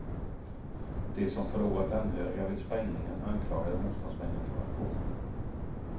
De som förlorat anhöriga vid sprängningen anklagade motståndsmännen för aktionen.